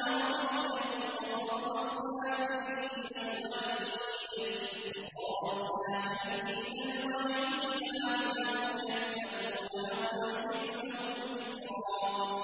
عَرَبِيًّا وَصَرَّفْنَا فِيهِ مِنَ الْوَعِيدِ لَعَلَّهُمْ يَتَّقُونَ أَوْ يُحْدِثُ لَهُمْ ذِكْرًا